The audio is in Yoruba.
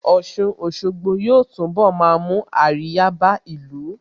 Ọ̀sun Òṣogbo yóò túnbọ̀ máa mú àríyá bá ìlú